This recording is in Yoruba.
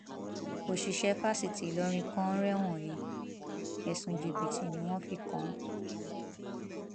òṣìṣẹ fásitì ìlọrin kan rẹwọn he ẹsùn jìbìtì ni wọn fi kàn án